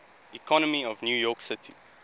economy of new york city